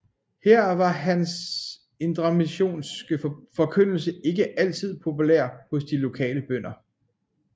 Her var hans indremissionske forkyndelse ikke altid populær hos de lokale bønder